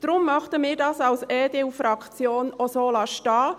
Deshalb möchten wir von der EDU-Fraktion das auch so stehen lassen.